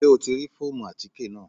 Ṣé o ti rí fóòmù àtíkè náà?